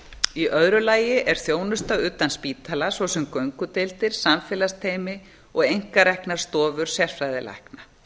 í öðru lagi er þjónusta utan spítala svo sem göngudeildir samfélagsteymi og einkareknar stofur sérfræðilækna